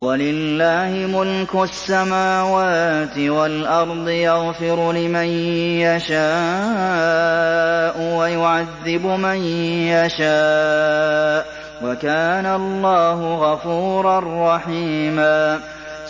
وَلِلَّهِ مُلْكُ السَّمَاوَاتِ وَالْأَرْضِ ۚ يَغْفِرُ لِمَن يَشَاءُ وَيُعَذِّبُ مَن يَشَاءُ ۚ وَكَانَ اللَّهُ غَفُورًا رَّحِيمًا